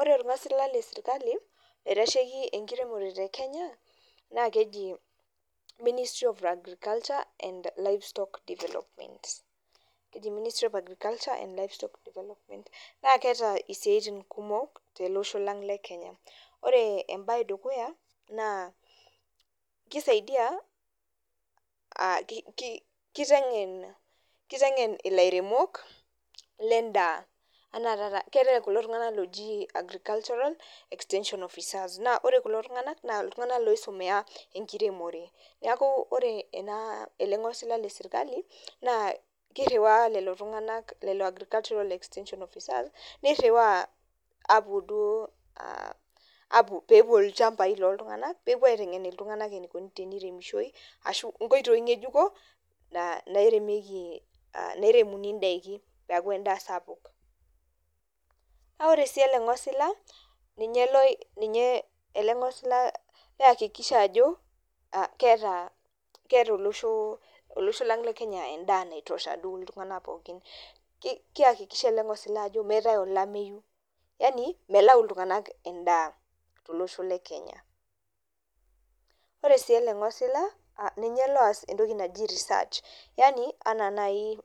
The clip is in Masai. Ore olngasil le sirkali oitasheki enkiremore te Kenya naa keji ministry of agriculture and livestock development keji ministry of agriculture and livestock development ,na keata isiatini kumok te ale losho lang le Kenya. Ore embaye edukuya naa keisaidiya, keitengen ilairemok le indaa anaa taata keatae kulo tungana looji agricultural extension officers. Kore kulo tunganak naa ltungana loisomea enkiremore, neaku ore enaa ,ale ingosila le sirkali naa keiruwa lelo tunga, lelo agricultural extension officers neiruwaa aapo duo, aapo peepuo ilchambai looltunganak, peepo aitengene iltunganak eneikoni peeremishoi ashu inkoitoi ngejuko nairemeki, nairemuni indaki peaku endaa sapuk. Naa ore sii ale ingosila ninye, ale ingosila keakikisha ajo keata olosho lang le kenya endaa naitosha duo iltungana pookin, keakikisha ale ingosila ajo meatae olameiyu, yaani melaau iltunganak endaa to losho le Kenya. Ore sii ale ingosila ninye loyas entoki naji research, yaani ena nai